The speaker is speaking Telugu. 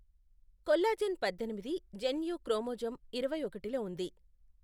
కొల్లాజెన్ పద్దెనిమిది జన్యువు క్రోమోజోమ్ ఇరవై ఒకటిలో ఉంది.